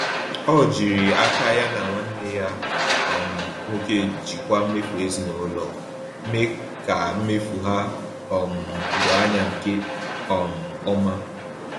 Ọ jiri aka ya na nwanne ya um nwoke jikwaa mmefu ezinụlọ, mee ka mmefu ha um doo anya nke um ọma.